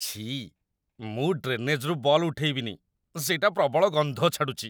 ଛିଃ, ମୁଁ ଡ୍ରେନେଜ୍‌ରୁ ବଲ୍ ଉଠେଇବିନି । ସେଇଟା ପ୍ରବଳ ଗନ୍ଧ ଛାଡ଼ୁଚି ।